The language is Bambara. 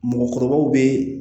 Mɔgɔkɔrɔbaw be